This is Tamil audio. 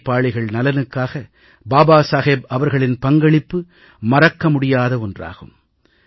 உழைப்பாளிகள் நலனுக்காக பாபா சாஹேப் அவர்களின் பங்களிப்பு மறக்க முடியாத ஒன்றாகும்